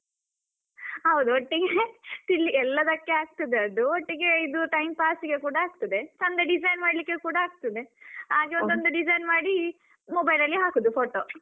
ಹೌದು ಒಟ್ಟಿಗೆ ತಿನ್ ಎಲ್ಲದಕ್ಕೆ ಆಗ್ತದೆ, ಅದು ಒಟ್ಟಿಗೆ ಇದು time pass ಗೆ ಕೂಡ ಆಗ್ತದೆ ಚಂದ design ಮಾಡ್ಲಿಕ್ಕೆ ಕೂಡ ಆಗ್ತದೆ, ಹಾಗೆ ಒಂದೊಂದು design ಮಾಡಿ mobile ಅಲ್ಲಿ ಹಾಕುದು photo.